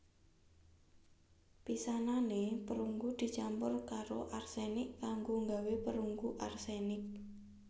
Pisanane perunggu dicampur karo arsenik kanggo nggawé perunggu arsenik